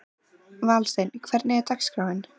Valsteinn, hvernig er dagskráin?